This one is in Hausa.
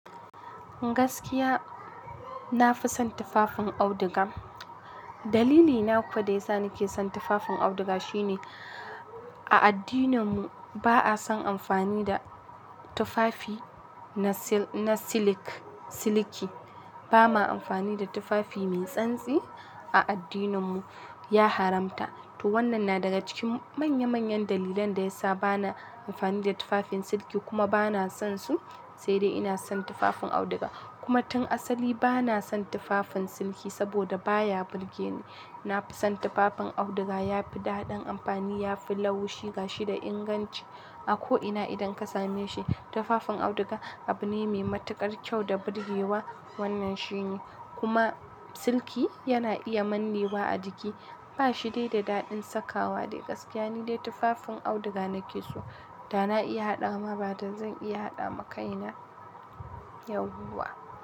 Gaskiya, na fi son tufafin auduga. Dalili na ko da yasa nake son tufafin auduga ko shine, a addinninmu ba a son amfani na tufafi na siliki ba ma amfani da tufafi mai tsantsi a addininmu, ya haramta. To wannan na daga cikin manyan manyan dalilan da ya sa ba na amfani da tufafin siliki kuma ba na sonsu, sai dai ina son tufafin auduga. Kuma tun asali ba na son tufafin siliki saboda baya burge ni. Na fi son tufafin auduga, ya fi daɗin amfani, ya fi laushi gashi da inganci. A ko'ina idan ka same shi, tufafin auduga abu ne mai matuƙar kyau da burgewa, wannan shi ne. Kuma siliki yana iya manne wa a jiki, ba shi dai da daɗin sakawa dai gaskiya ni dai tufafin auduga nake so. Da na iya haɗa ma bada zan iya haɗa ma kaina, yauwa.